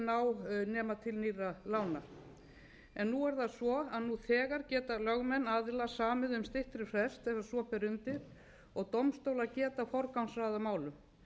ná nema til nýrra lána nú er það svo að nú þegar geta lögmenn aðila samið um styttri frest ef svo ber undir og dómstólar geta forgangsraðað málum